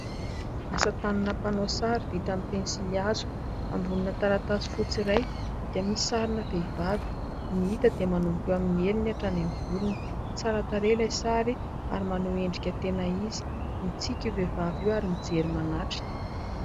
Asa tanana mpanao sary vita amin' ny pensily hazo ambonina taratasy fotsy iray dia misy sarina vehivavy no hita dia manomboka eo amin' ny heliny hatrany amin' ny volony. Tsara tarehy ilay sary ary maneho endrika tena izy. Mitsiky io vehivavy io ary mijery manatrika.